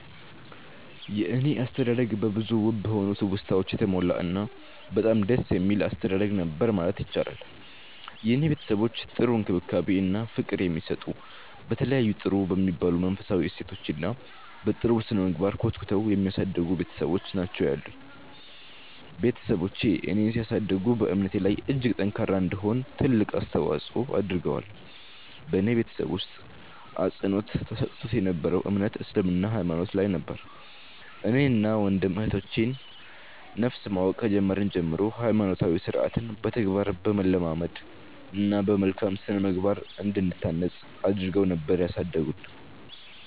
የኔ አስተዳደግ በብዙ ውብ በሆኑ ትውስታወች የተሞላ እና በጣም ደስ የሚል አስተዳደግ ነበር ማለት ይቻላል። የኔ ቤተሰቦች ጥሩ እንክብካቤ እና ፍቅር የሚሰጡ፤ በተለያዩ ጥሩ በሚባሉ መንፈሳዊ እሴቶች እና በ ጥሩ ስነምግባር ኮትኩተው የሚያሳድጉ ቤትሰቦች ናቸው ያሉኝ። ቤትሰቦቼ እኔን ሲያሳድጉ በእምነቴ ላይ እጅግ ጠንካራ እንድሆን ትልቅ አስተዋፆ አድርገዋል። በኔ ቤተሰብ ውስጥ አፅንዖት ተሰጥቶት የ ነበረው እምነት እስልምና ሃይማኖት ላይ ነበር። እኔን እና ወንድም እህቶቼ ን ነፍስ ማወቅ ከጀመርን ጀምሮ ሃይማኖታዊ ስርዓትን በተግባር በማለማመድ እና በመልካም ስነምግባር እንድንታነፅ አድረገው ነበር ያሳደጉን።